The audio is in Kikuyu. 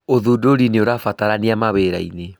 ũthũndũri nĩ ũrabatarania mawĩrainĩ